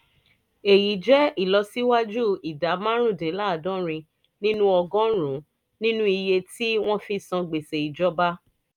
èyí jẹ́ ìlọsíwájú ìdá márùndínláàádọ́rin nínú ọgọ́rùn-ún nínú iye tí wọ́n fi ń san gbèsè ìjọba